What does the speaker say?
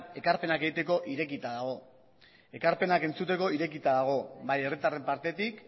ekarpenak egiteko irekita dago ekarpenak entzuteko irekita dago bai herritarren partetik